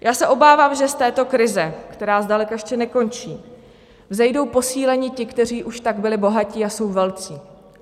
Já se obávám, že z této krize, která zdaleka ještě nekončí, vzejdou posíleni ti, kteří už tak byli bohatí a jsou velcí.